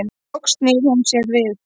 Loks snýr hún sér við.